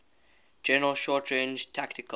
general short range tactical